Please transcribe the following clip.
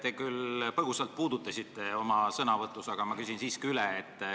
Te küll põgusalt puudutasite seda oma sõnavõtus, aga ma küsin siiski üle.